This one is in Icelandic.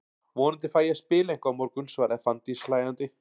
Vonandi fæ ég að spila eitthvað á morgun, svaraði Fanndís hlæjandi.